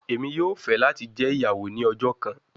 Emi yoo fẹ lati jẹ iyawo ni ọjọ kan